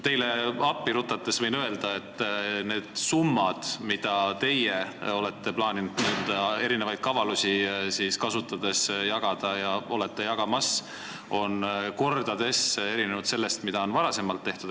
Teile appi rutates võin öelda, et need summad, mida teie plaanite erinevaid kavalusi kasutades laiali jagada, erinevad kordades nendest, mida on varem laiali jagatud.